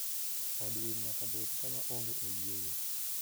Od winy nyaka bed kama onge oyieyo.